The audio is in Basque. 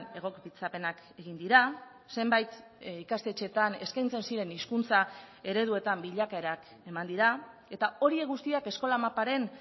egokitzapenak egin dira zenbait ikastetxeetan eskaintzen ziren hizkuntza ereduetan bilakaerak eman dira eta horiek guztiak eskola maparen